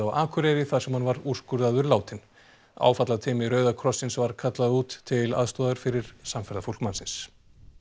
Akureyri þar sem hann var úrskurðaður látinn áfallateymi Rauða krossins var kallað út til aðstoðar fyrir samferðafólk mannsins